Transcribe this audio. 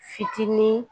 Fitinin